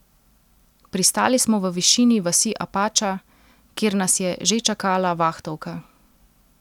Pristali smo v višini vasi Apača, kjer nas je že čakala vahtovka.